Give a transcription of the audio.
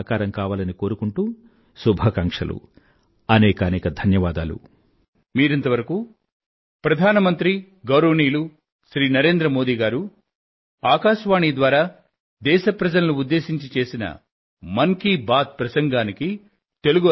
నా తరఫున దేశవాసులందరికీ వారి కలలన్నీ సాకారం కావాలని కోరుకుంటూ శుభాకాంక్షలు